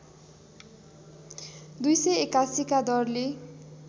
२८१ का दरले